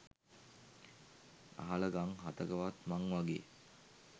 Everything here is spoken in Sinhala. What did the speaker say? අහල ගං හතකවත් මං වගේ